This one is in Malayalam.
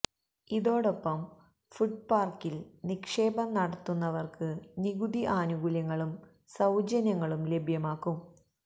ഇതോടൊപ്പം ഫുഡ് പാര്ക്കില് നിക്ഷേപം നടത്തുന്നവര്ക്കു നികുതി ആനുകൂല്യങ്ങളും സൌജന്യങ്ങളും ലഭ്യമാക്കും